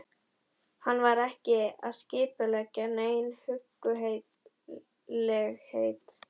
Hann var ekki að skipuleggja nein huggulegheit.